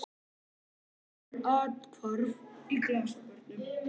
Svo eiga konur athvarf í glasabörnum.